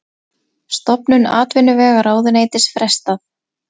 Stofnun atvinnuvegaráðuneytis frestað